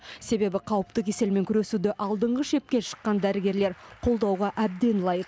себебі қауіпті кеселмен күресуде алдыңғы шепке шыққан дәрігерлер қолдауға әбден лайық